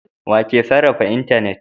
Wa ke sarrafa intanet?